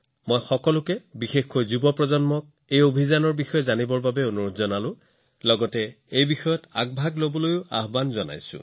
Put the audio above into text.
মই আপোনালোক সকলোকে আৰু বিশেষকৈ যুৱচামক এই অভিযানৰ বিষয়ে জানিবলৈ আৰু ইয়াৰ দায়িত্ব লোৱাটো বিচাৰিম